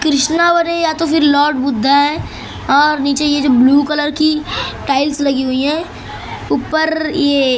कृष्णावर हैं या तो फिर लॉर्ड बुद्धा हैं और नीचे ये जो ब्लू कलर की टाइल्स लगी हुई हैं ऊपर ये --